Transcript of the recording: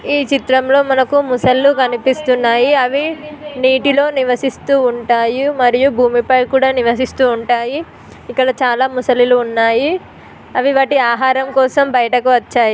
ఈ చిత్రం లో మనకు ముస్సాళ్ళు కనిపిస్తున్నాయి అవి నీటిలో నివాసిస్తు ఉంటాయి మరియు భూమిపై కూడా నివాసిస్తు ఉంటాయి. ఇక్కడ చాలా ముస్సాళ్ళు ఉన్నాయి అవి వాటి ఆహారం కోసం బయటికి వచ్చాయి.